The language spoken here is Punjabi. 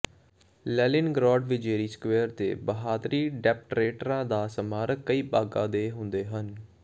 ਲੈਨਿਨਗ੍ਰਾਡ ਵਿਜੇਰੀ ਸਕਵੇਅਰ ਦੇ ਬਹਾਦਰੀ ਡੈਪਰੇਟਰਾਂ ਦਾ ਸਮਾਰਕ ਕਈ ਭਾਗਾਂ ਦੇ ਹੁੰਦੇ ਹਨ